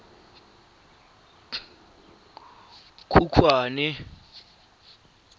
khukhwane